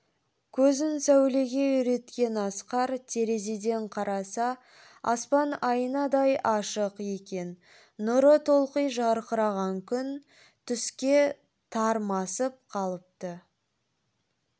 көзін сәулеге үйреткен асқар терезеден қараса аспан айнадай ашық екен нұры толқи жарқыраған күн түске тармасып қалыпты